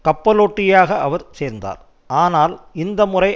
கப்பலோட்டியாக அவர் சேர்ந்தார் ஆனால் இந்த முறை